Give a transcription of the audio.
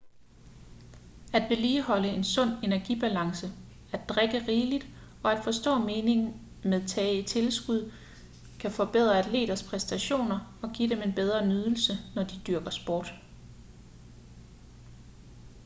at vedligeholde en sund energibalance at drikke rigeligt og at forstå meningen med tage tilskud kan forbedre atleters præstationer og give dem en bedre nydelse når de dyrker sport